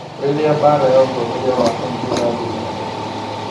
Rĩrĩa mbaara ya ũtongoria wa kauntĩ ĩrathiĩ na mbere.